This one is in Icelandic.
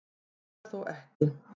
Svo er þó ekki.